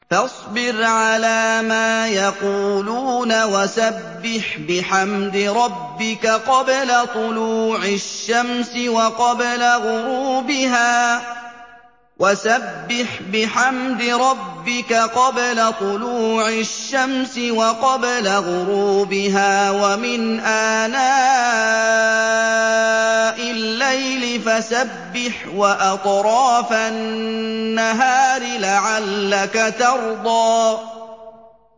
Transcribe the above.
فَاصْبِرْ عَلَىٰ مَا يَقُولُونَ وَسَبِّحْ بِحَمْدِ رَبِّكَ قَبْلَ طُلُوعِ الشَّمْسِ وَقَبْلَ غُرُوبِهَا ۖ وَمِنْ آنَاءِ اللَّيْلِ فَسَبِّحْ وَأَطْرَافَ النَّهَارِ لَعَلَّكَ تَرْضَىٰ